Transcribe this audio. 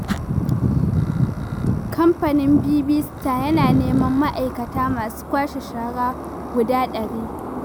Kamfanin Bibi Star yana neman ma'aikata masu kwashe shara guda ɗari.